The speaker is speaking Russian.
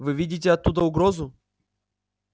вы видите оттуда угрозу